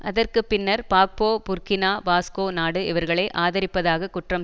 அதற்கு பின்னர் Gbagbo Burkina Faso நாடு இவர்களை ஆதரிப்பதாக குற்றம்